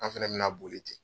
An fana bɛna boli ten